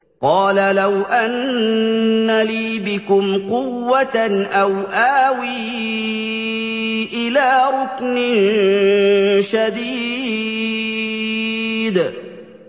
قَالَ لَوْ أَنَّ لِي بِكُمْ قُوَّةً أَوْ آوِي إِلَىٰ رُكْنٍ شَدِيدٍ